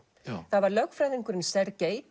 það var lögfræðingurinn